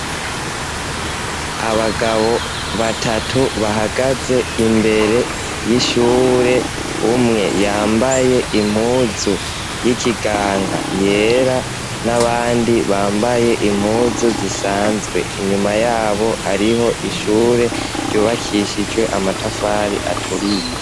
Abagabo batatu bahagaze imbere y'ishure. Umwe yambaye impuzu y'ikiganga yera, n'abandi bambaye impuzu zisanzwe. Inyuma y'abo hariho ishure yubakishijwe amatafari aturiye.